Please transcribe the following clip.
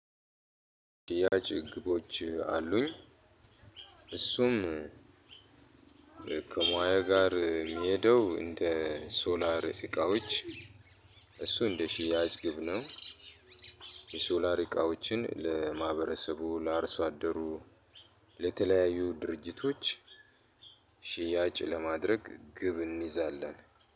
ያች ግቦች አሉኝ። እሱም እ ከሙያ ጋር ሚሄደው እንደ ሶላር እቃዎች እሱ እንደ ሽያጭ ግብ ነው። የሶላር እቃዎችን ለማህበረሰቡ ለአርሶ አደሩ። ለተለያዩ ድርጅቶች ሽያጭ ለማድረግ ግብ እንይዛለን።